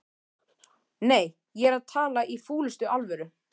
Nei, ég er að tala í fúlustu alvöru